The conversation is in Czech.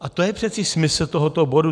A to je přeci smysl tohoto bodu.